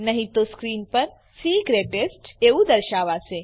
નહી તો સ્ક્રીન પર સી ઇસ ગ્રેટેસ્ટ એવું દર્શાવાશે